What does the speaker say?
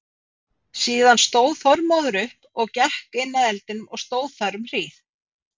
Síðan stóð Þormóður upp og gekk inn að eldinum og stóð þar um hríð.